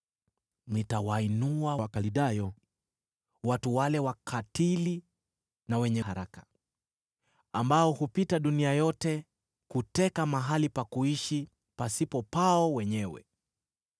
Nitawainua Wakaldayo, watu hao wakatili na wenye haraka, ambao hupita dunia yote kuteka mahali pa kuishi pasipo pao wenyewe.